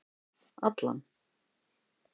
Allan